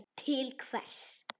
Til hvers?